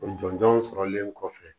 O jɔnjɔnw sɔrɔlen kɔfɛ